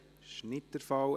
– Das ist nicht der Fall.